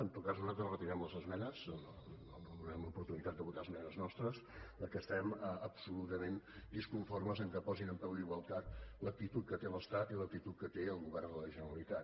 en tot cas nosaltres retirem les esmenes no donarem l’oportunitat de votar esmenes nostres perquè estem absolutament disconformes que posin en peu d’igualtat l’actitud que té l’estat i l’actitud que té el govern de la generalitat